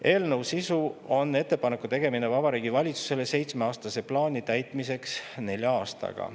Eelnõu sisu on ettepaneku tegemine Vabariigi Valitsusele seitsmeaastase plaani täitmiseks nelja aastaga.